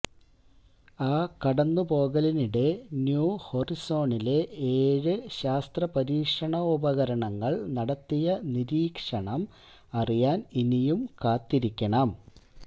ആ കടന്നുപോകലിനിടെ ന്യൂ ഹൊറൈസണ്സിലെ ഏഴ് ശാസ്ത്രപരീക്ഷണോപകരണങ്ങള് നടത്തിയ നിരീക്ഷണം അറിയാന് ഇനിയും കാത്തിരിക്കണം